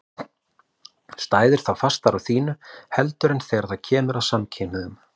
Stæðirðu þá fastar á þínu heldur en þegar það kemur að samkynhneigðum?